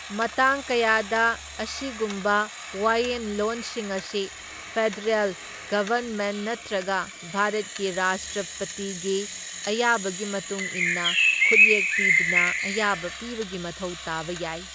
ꯃꯇꯥꯡ ꯀꯌꯥꯗ, ꯑꯁꯤꯒꯨꯝꯕ ꯋꯥꯌꯦꯟꯂꯣꯟꯁꯤꯡ ꯑꯁꯤ ꯐꯦꯗꯔꯦꯜ ꯒꯕꯔꯟꯃꯦꯟꯠ ꯅꯠꯇ꯭ꯔꯒ ꯚꯥꯔꯠꯀꯤ ꯔꯥꯁꯇ꯭ꯔꯄꯇꯤꯒꯤ ꯑꯌꯥꯕꯒꯤ ꯃꯇꯨꯡ ꯏꯟꯅ ꯈꯨꯠꯌꯦꯛ ꯄꯤꯗꯨꯅ ꯑꯌꯥꯕ ꯄꯤꯕꯒꯤ ꯃꯊꯧ ꯇꯥꯕ ꯌꯥꯏ꯫